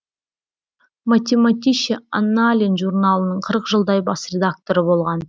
математише аннален журналының қырық жылдай бас редакторы болған